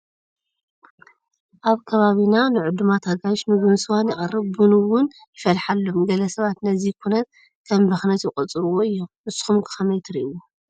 ኣብ ከባቢና ንዕዱማት ኣጋይሽ ምግብን ስዋን ይቐርብ፡፡ ቡን እውን ይፈልሓሎም፡፡ ገለ ሰባት ነዚ ኩነት ከም ብኽነት ይቖፅርዎ እዮም፡፡ ንስኹም ከ ከመይ ትርኢዎ?